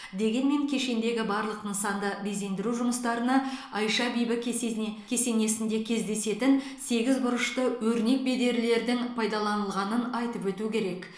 дегенмен кешендегі барлық нысанды безендіру жұмыстарына айша бибі кесесіне кесенесінде кездесетін сегіз бұрышты өрнек бедерлердің пайдаланылғанын айтып өту керек